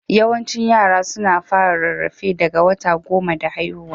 Yawaicin yara suna fara rarrafe daga wata goma da haihuwa.